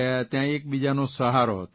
ત્યાં એક બીજાનો સહારો હતો